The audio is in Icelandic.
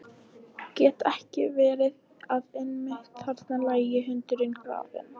Gat ekki verið að einmitt þarna lægi hundurinn grafinn?